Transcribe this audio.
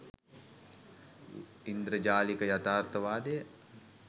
ඉන්ද්‍රජාලික යථාර්ථවාදය